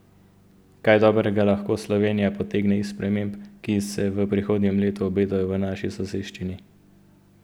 Kaj dobrega lahko Slovenija potegne iz sprememb, ki se v prihodnjem letu obetajo v naši soseščini?